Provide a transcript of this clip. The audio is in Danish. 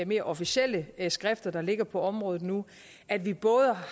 mere officielle skrifter der ligger på området nu at vi